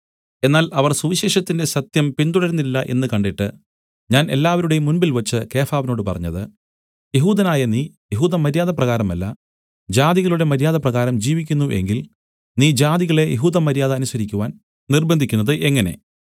എന്നാൽ അവർ സുവിശേഷത്തിന്റെ സത്യം പിന്തുടരുന്നില്ല എന്നു കണ്ടിട്ട് ഞാൻ എല്ലാവരുടെയും മുമ്പിൽവച്ച് കേഫാവിനോട് പറഞ്ഞത് യെഹൂദനായ നീ യെഹൂദമര്യാദപ്രകാരമല്ല ജാതികളുടെ മര്യാദപ്രകാരം ജീവിക്കുന്നു എങ്കിൽ നീ ജാതികളെ യെഹൂദമര്യാദ അനുസരിക്കുവാൻ നിര്‍ബ്ബന്ധിക്കുന്നത് എങ്ങനെ